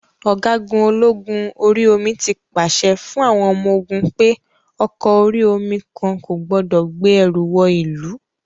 Ọ̀gágun ológun orí omi tí pàṣẹ fún àwọn ọmọ-ogun pé ọkọ orí-omi kan kò gbọdọ̀ gbé ẹrù wọ ìlú.